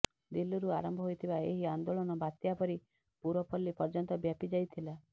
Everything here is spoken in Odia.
ଦିଲ୍ଲୀରୁ ଆରମ୍ଭ ହୋଇଥିବା ଏହି ଆନ୍ଦୋଳନ ବାତ୍ୟା ପରି ପୁରପଲ୍ଲୀ ପର୍ଯ୍ୟନ୍ତ ବ୍ୟାପି ଯାଇଥିଲା